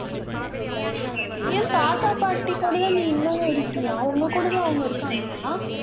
ஏன் தாத்தா பாட்டி கூடதான் நீ இன்னமும் இருக்கியா உங்க கூடதான் அவங்க இருக்காங்களா